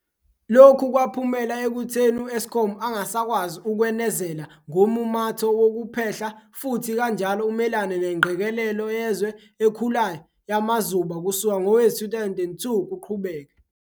Lokhu kwaphumela ekutheni u-Eskom angasakwazi ukwenezela ngommumatho wokuphehla futhi kanjalo umelane nengqekelelo yezwe ekhulayo yamazuba kusuka ngowezi-2002 kuqhubeke.